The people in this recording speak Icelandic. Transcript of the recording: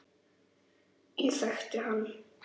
Ég þekkti hann